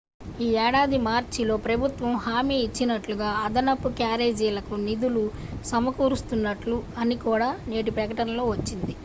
ఈ ఏడాది మార్చిలో ప్రభుత్వము హామీ ఇచ్చినట్లుగా అదనపు క్యారేజీలకు నిధులు సమకూరుస్తున్నట్లు అని కూడా నేటి ప్రకటనలో వచ్చింది